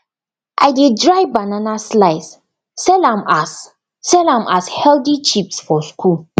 i dey dry banana slice sell am as sell am as healthy chips for school